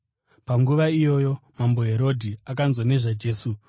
Panguva iyoyo mambo Herodhi akanzwa nezvaJesu